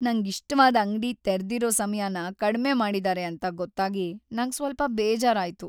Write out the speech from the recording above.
ನಂಗಿಷ್ಟವಾದ್ ಅಂಗ್ಡಿ ತೆರ್ದಿರೋ ಸಮಯನ ಕಡ್ಮೆ ಮಾಡಿದಾರೆ ಅಂತ ಗೊತ್ತಾಗಿ ನಂಗ್ ಸ್ವಲ್ಪ ಬೇಜಾರಾಯ್ತು.